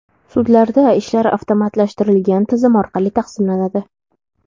Sudlarda ishlar avtomatlashtirilgan tizim orqali taqsimlanadi.